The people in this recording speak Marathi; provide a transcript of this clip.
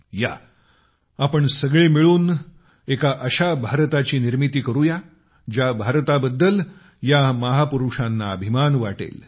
या आपण सगळे मिळून एका अशा भारताची निर्मिती करूया ज्या भारताबद्दल या महापुरुषांना अभिमान वाटेल